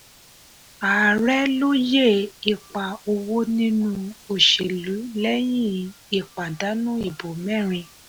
ààrẹ lóyè ipa owó nínú òṣèlú lẹ́hìn ìpadànù ìbò mẹ́rin.